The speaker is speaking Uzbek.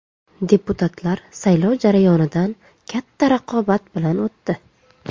Deputatlar saylov jarayonlaridan katta raqobat bilan o‘tdi.